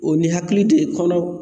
O ni hakili tɛ kɔnɔ